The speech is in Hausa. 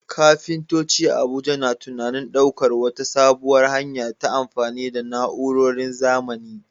Kafintoci a Abuja na tunanin daukar wata sabuwar hanya ta amfani da na'urorin zamani.